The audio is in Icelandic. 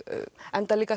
enda